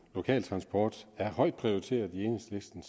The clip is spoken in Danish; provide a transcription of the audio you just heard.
lokal transport er højt prioriteret i enhedslisten